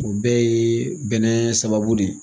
O bɛɛ ye bɛnɛ sababu de ye